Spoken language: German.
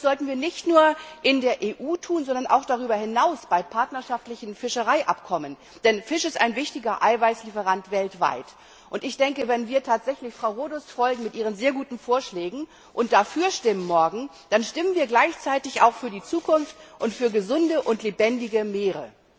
Das sollten wir nicht nur in der EU tun, sondern auch darüber hinaus bei partnerschaftlichen Fischereiabkommen, denn Fisch ist ein wichtiger Eiweißlieferant weltweit, und ich denke, wenn wir tatsächlich Frau Rodust mit ihren sehr guten Vorschlägen folgen und morgen dafür stimmen, dann stimmen wir gleichzeitig auch für die Zukunft und für gesunde und lebendige Meere.